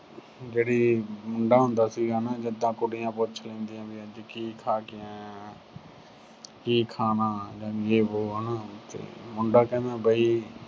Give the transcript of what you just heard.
ਜਿਹੜਾ ਮੁੰਡਾ ਹੁੰਦਾ ਸੀ ਨਾ, ਜਿਦਾਂ ਕੁੜੀਆਂ ਪੁੱਛ ਲੈਂਦੀਆਂ ਵੀ ਅੱਜ ਕੀ ਖਾ ਖਾ ਕੇ ਆਇਆ ਕੀ ਖਾਣਾ ਜਾਂ ਜੇ ਵੋ ਹਨਾ ਤੇ ਮੁੰਡਾ ਕਹਿੰਦਾ ਬਈ